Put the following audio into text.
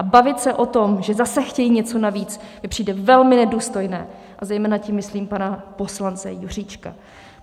A bavit se o tom, že zase chtějí něco navíc, mi přijde velmi nedůstojné, a zejména tím myslím pana poslance Juříčka.